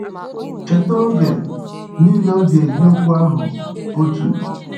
“Cheta oge niile ọ ji eji okwu ahụ otu.”